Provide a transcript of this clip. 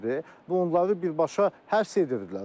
Və onları birbaşa həbs edirdilər.